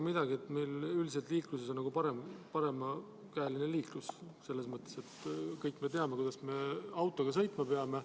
Meil on üldiselt paremakäeline liiklus, kõik me teame, kuidas me autoga sõitma peame.